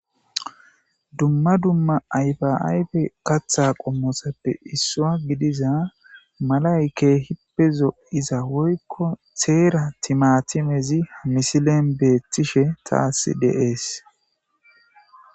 Dumma dumma ayfa ayfe katha qommosappe issua gidiza malay keehippezo iza woykko teera timatimezi ha misilen beetishe taasi deees.